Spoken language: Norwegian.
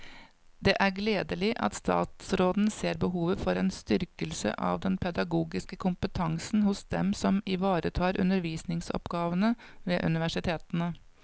Det er gledelig at statsråden ser behovet for en styrkelse av den pedagogiske kompetansen hos dem som ivaretar undervisningsoppgavene ved universitetene.